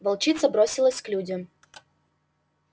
волчица бросилась к людям